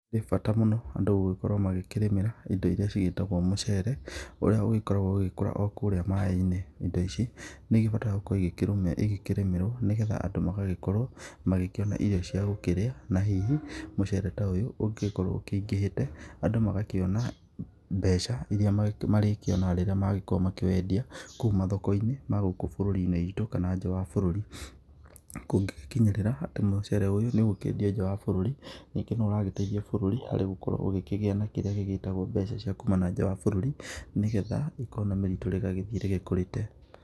Nĩ bata mũno andũ gũgĩkorwo magĩkĩrĩmĩra indo irĩa cigĩtagwo mũcere ũrĩa ũgĩkoragwo ũgĩkũra okũrĩa maĩ-inĩ indo ici nĩ igĩbataraga gũkorwo igĩkĩrĩmĩrwo nĩgetha andũ magagĩkorwo magĩkĩona irio cia gũkĩrĩa na hihi mũcere ta ũyũ ũngĩgĩkorwo ũkĩingĩhĩte andũ magakorwo makĩona mbeca iria marĩkĩonaga rĩrĩa magĩkorwo makĩwendia kũu mathoko-inĩ magũkũ bũrũri-inĩ witũ kana nja wa bũrũri, kũngĩ gĩkinyĩrĩra atĩ mũcere ũyũ nĩ ũgũkĩendio nja wa bũrũri ningĩ nĩ ũragĩteithia bũrũri harĩ gũgĩkorwo na kĩrĩa gĩgĩtagwo mbeca cia kuma na nja wa bũrũri nĩgetha economĩ ritũ rĩgagĩthiĩ rĩkũrĩte.